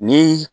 Ni